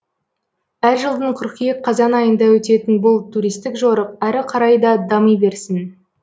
әр жылдың қыркүйек қазан айында өтетін бұл туристік жорық әрі қарай да дами берсін